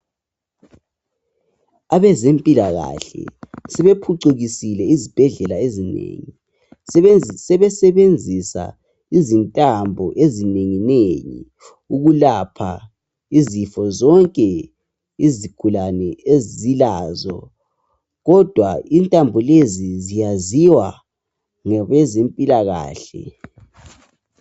Abezempilakahle sebephucukisile izibhedlela ezinengi, sebesebenzisa izintambo ezinenginengi ukulapha izifo zonke izigulane ezilazo kodwa intambo lezi ziyaziwa ngabezempilakahle.